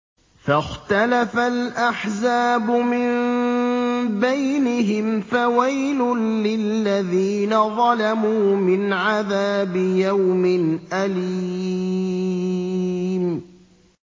فَاخْتَلَفَ الْأَحْزَابُ مِن بَيْنِهِمْ ۖ فَوَيْلٌ لِّلَّذِينَ ظَلَمُوا مِنْ عَذَابِ يَوْمٍ أَلِيمٍ